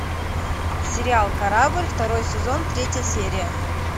сериал корабль второй сезон третья серия